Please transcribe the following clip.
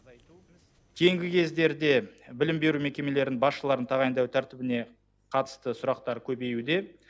кейінгі кездерде білім беру мекемелерінің басшыларын тағайындау тәртібіне қатысты сұрақтар көбеюде